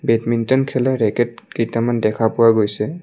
Badminton খেলা racket কেইটামান দেখা পোৱা গৈছে।